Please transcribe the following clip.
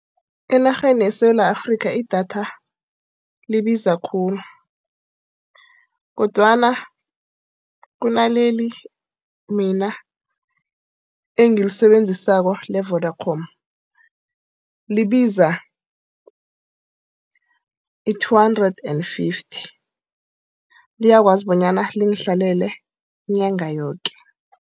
Enarheni yeSewula Afrika idatha libiza khulu. Kodwana kunaleli mina engilisebenzisa le-Vodacom. Libiza i-two hundred and fifty. Liyakwazi bonyana lingihlalele inyanga yoke.